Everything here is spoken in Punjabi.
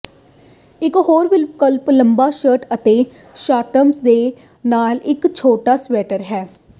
ਇਕ ਹੋਰ ਵਿਕਲਪ ਲੰਬਾ ਸ਼ਰਟ ਅਤੇ ਸ਼ਾਰਟਸ ਦੇ ਨਾਲ ਇਕ ਛੋਟਾ ਸਵੈਟਰ ਹੈ